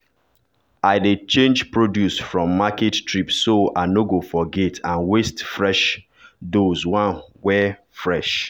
i dey change produce from market trips so i no go forget and waste fresh doze one wey fresh.